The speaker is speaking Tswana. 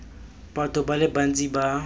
batho ba le bantsi ba